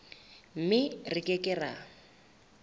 mme re ke ke ra